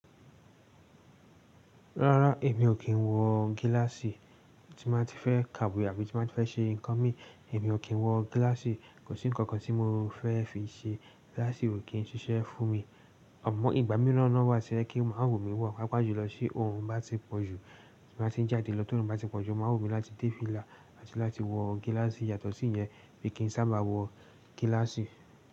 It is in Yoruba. Rárá, èmi ò kín wọ gílàsì. Tí mo bá fẹ́ ka àbí tí mo bá fẹ́ ṣe nǹkan mi, èmi ò kín wọ gílàsì. Kò sí ǹkankan tí mo fẹ́ fi ṣe, gílàsì ò kín ṣiṣẹ́ fún mi. Àmọ́ ìgbà míràn náà wá ti ó jẹ́ kí ó máa wù mí wọ̀, pàpàá jù lọ tí orun bá ti pọ̀jù, tí mo bá ti ń jáde lọ tó orun bá ti pọ̀jù, ó máa wù mí láti dé fìlà àti láti wọ gílàsì. Yàtọ̀ sí ìyẹn mi kìí sábà wọ gílàsì.